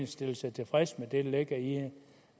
stillede sig tilfreds med det der ligger i